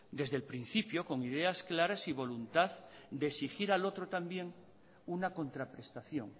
desde el principio con ideas claras y voluntad de exigir al otro también una contraprestación